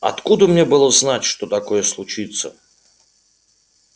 откуда мне было знать что такое случится